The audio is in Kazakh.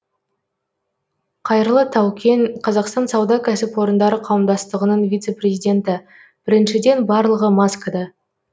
қайырлы таукен қазақстан сауда кәсіпорындары қауымдастығының вице президенті біріншіден барлығы маскада